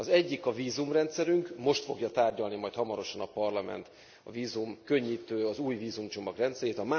Az egyik a vízumrendszerünk, most fogja tárgyalni majd hamarosan a Parlament a vízumkönnyítő, új vízumcsomag rendszerét.